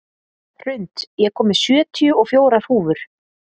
Hrund, ég kom með sjötíu og fjórar húfur!